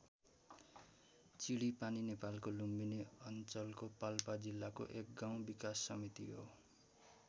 चिडिपानी नेपालको लुम्बिनी अञ्चलको पाल्पा जिल्लाको एक गाउँ विकास समिति हो।